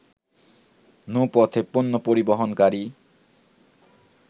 নৌপথে পণ্য পরিবহনকারী